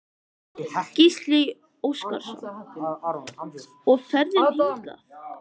Gísli Óskarsson: Og ferðin hingað?